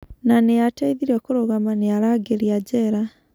Na nĩ aateithirio kũrũgama nĩ arangĩri a njera.